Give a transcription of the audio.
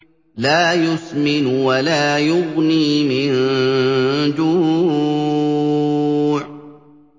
لَّا يُسْمِنُ وَلَا يُغْنِي مِن جُوعٍ